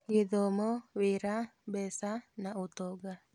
Gĩthomo, wĩra, mbeca na ũtonga